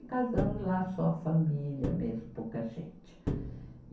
E casamos lá só a família mesmo, pouca gente.